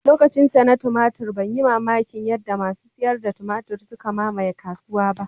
Lokacinsa na tumatur ban yi mamakin yadda masu sayar da tumatur suka mamaye kasuwa ba